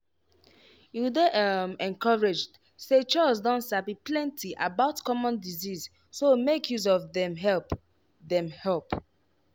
you dey um encouraged say chws don sabi plenty about common disease so make use of dem help. dem help.